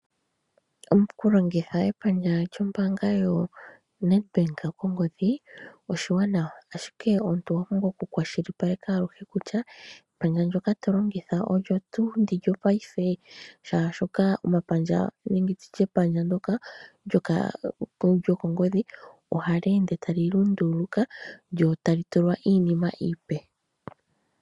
Okulongitha epandja lyombaanga yaNedBank kongodhi oshiwanawa, ashike omuntu owa pumbwa okukwashilipaleka ngele epandja ndyoka to longitha olyo tuu lyopaife molwashoka epandja ndyoka lyokongodhi ohali ende tali lunduluka lyo tali tulwa iinima iipe.